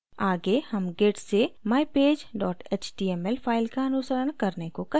आगे हम git से mypage html फाइल का अनुसरण करने को कहेंगे